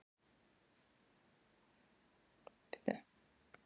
Skínandi sagði Jakob og reyndi að flíka ekki sigurgleði sinni.